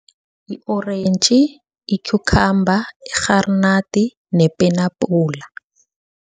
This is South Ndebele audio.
I-orentji, i-cucumber, irharinadi, nepenabhula.